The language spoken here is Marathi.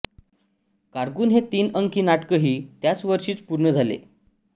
कारकून हे तीन अंकी नाटकही त्यावर्षीच पूर्ण झाले